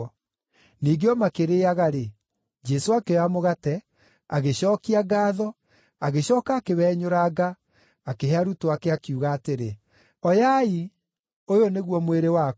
Ningĩ o makĩrĩĩaga-rĩ, Jesũ akĩoya mũgate, agĩcookia ngaatho, agĩcooka akĩwenyũranga, akĩhe arutwo ake, akiuga atĩrĩ, “Oyai; ũyũ nĩguo mwĩrĩ wakwa.”